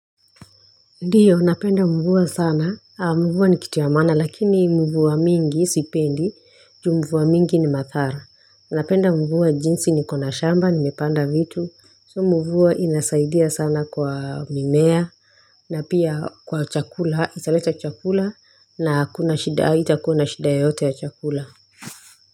Ndiyo napenda mvua sana mvua ni kitu ya maana lakini mvua mingi sipendi juu mvua mingi ni madhara napenda mvua jinsi niko na shamba nimepanda vitu so mvua inasaidia sana kwa mimea na pia kwa chakula italeta chakula na hakuna shida haitakuwa na shida yoyote ya chakula.